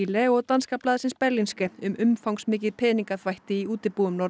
YLE og danska blaðsins Berlingske um umfangsmikið peningaþvætti í útibúum